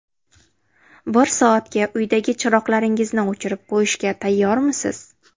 Bir soatga uydagi chiroqlaringizni o‘chirib qo‘yishga tayyormisiz?